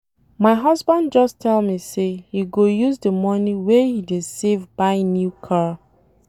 My husband just tell me say he go use the money wey he dey save buy new car.